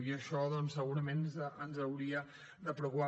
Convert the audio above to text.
i això doncs segurament ens hauria de preocupar